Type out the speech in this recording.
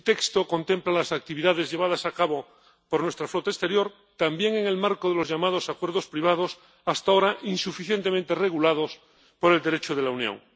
El texto contempla las actividades llevadas a cabo por nuestra flota exterior también en el marco de los llamados acuerdos privados, hasta ahora insuficientemente regulados por el Derecho de la Unión.